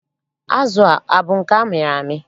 Azụ a, abụ nke amịrị amị?